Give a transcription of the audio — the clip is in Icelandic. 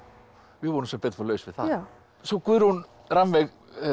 við vorum sem betur fer laus við það já svo Guðrún Rannveig